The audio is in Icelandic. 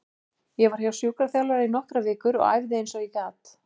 Ég var hjá sjúkraþjálfara í nokkrar vikur og æfði eins og ég gat.